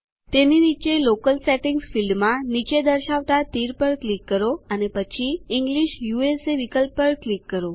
તેની નીચે locale setting ફીલ્ડમાં નીચે દર્શવતા તીર પર ક્લિક કરો અને પછી ઇંગ્લિશ યુએસએ વિકલ્પ પર ક્લિક કરો